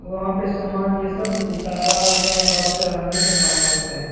वहाँ पे सामान ये सब उतारा अ-अ चढ़ाने का काम करते हैं।